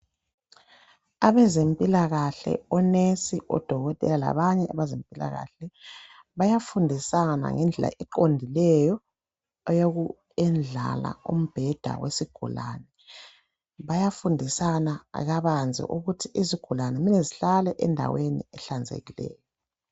Abezempilakahle onesi Odokotela labanye abezempilakahle bayafundisana ngendlela eqondileyo eyokuyendlala umbheda wesigulane Bayafundisana kabanzi ukuthi izigulane kumele zihlale endaweni ehlanzekileyo